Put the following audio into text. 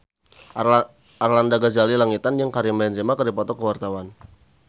Arlanda Ghazali Langitan jeung Karim Benzema keur dipoto ku wartawan